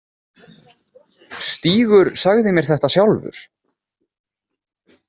Stígur sagði mér þetta sjálfur.